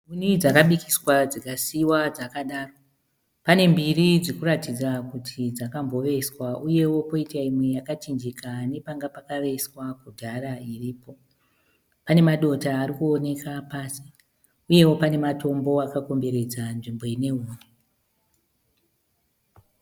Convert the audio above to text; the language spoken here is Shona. Huni dzakabikiswa dzikasiyiwa dzaksdaro pane mbiri dzirikuratidza kuti dzakamboveswa uyewo poitawo imwe yakachinjika nepanga pakaveswa kudhara iripo. Pane madoto arikuoneka pasi uyewo pane matombo akakomberedza nzvimbo ine huni.